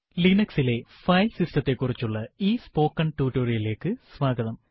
Linux ലെ file സിസ്റ്റത്തെ കുറിച്ചുള്ള ഈ സ്പോക്കൺ ടുട്ടോറിയലിലേക്ക് സ്വാഗതം